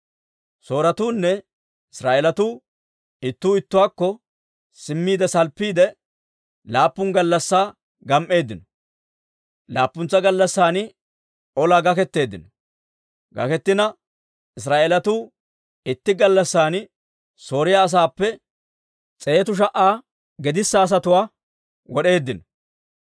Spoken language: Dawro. Sooretuunne Israa'eelatuu ittuu ittuwaakko simmiide salppiide, laappun gallassaa gam"eeddino. Laappuntsa gallassan olaa gaketeeddino; Israa'eelatuu itti gallassan Sooriyaa asaappe s'eetu sha"a gedissa asatuwaa wod'eeddino.